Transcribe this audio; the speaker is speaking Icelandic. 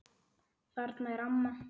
Þarna er amma!